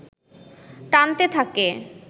টানতে থাকে